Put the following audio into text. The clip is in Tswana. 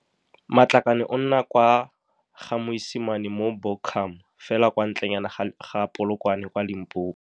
Matlakane o nna kwa Ga-Moisamane mo Buchum fela kwa ntlenyane ga Polokwane kwa Limpopo.